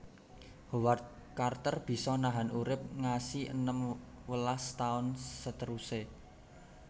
Howard Carter bisa nahan urip ngasi enam welas taun seteruse